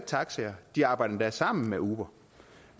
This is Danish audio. taxaer og de arbejder endda sammen med uber